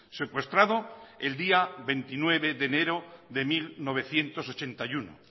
secuestrado el día veintinueve de enero de mil novecientos ochenta y uno